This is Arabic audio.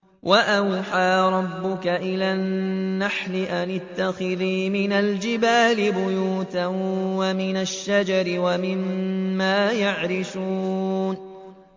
وَأَوْحَىٰ رَبُّكَ إِلَى النَّحْلِ أَنِ اتَّخِذِي مِنَ الْجِبَالِ بُيُوتًا وَمِنَ الشَّجَرِ وَمِمَّا يَعْرِشُونَ